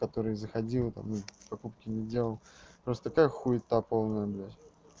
который заходил там ну покупки не делал просто как хуита полная блядь